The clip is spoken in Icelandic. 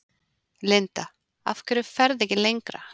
Linda: Af hverju ferðu ekki lengra?